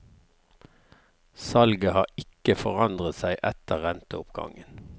Salget har ikke forandret seg etter renteoppgangen.